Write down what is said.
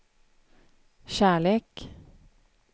kärlek